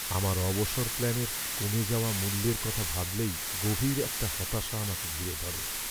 আমার অবসর প্ল্যানের কমে যাওয়া মূল্যের কথা ভাবলেই গভীর একটা হতাশা আমাকে ঘিরে ধরে।